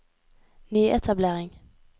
nyetablering